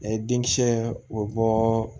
Ɛɛ denkisɛ o bɔ